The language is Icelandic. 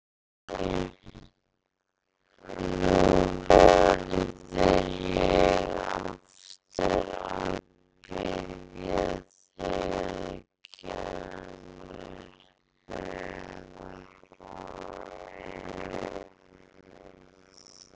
Heyrðu. nú verð ég aftur að biðja þig að gera mér greiða!